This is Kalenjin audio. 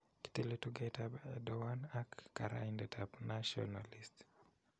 Kitiliii tugetap Erdowan ak karaidet ap nationalist.